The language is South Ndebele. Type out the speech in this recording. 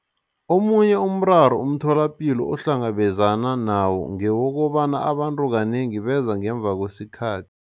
Omunye umraro umtholapilo ohlangabezana nawo ngewokobana abantu kanengi beza ngemva kwesikhathi.